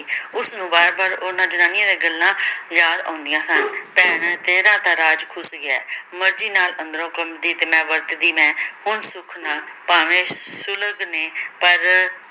ਉਸਨੂੰ ਬਾਰ ਬਾਰ ਉਹਨਾਂ ਜਨਾਨੀਆਂ ਦੀਆਂ ਗੱਲਾਂ ਯਾਦ ਆਉਂਦੀਆਂ ਸਨ ਭੈਣੇ ਤੇਰਾ ਤਾਂ ਰਾਜ ਖੁਸ ਗਿਆ ਏ ਮਰਜੀ ਨਾਲ ਅੰਦਰੋਂ ਖੁੱਲਦੀ ਤੇ ਮੈ ਵਰਤਦੀ ਮੈ ਹੁਣ ਸੁਖ ਨਾਲ ਭਾਵੇਂ ਨੇ ਪਰ